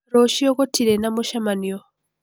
Rũciũ gũtirĩ na mũcemanio.